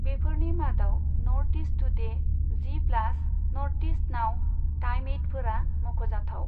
बेफोरनि मादाव North East Today, G Plus, North East Now, time एइटफोरा मख'जाथाव।